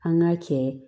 An ka cɛ